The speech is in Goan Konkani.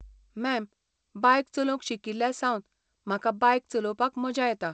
मॅम, बायक चलोवंक शिकिल्ल्या सावन म्हाका बायक चलोवपाक मजा येता.